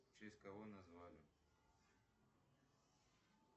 в честь кого назвали